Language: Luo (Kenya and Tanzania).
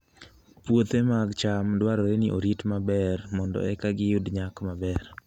Puothe mag cham dwarore ni orit maber mondo eka giyud nyak maber.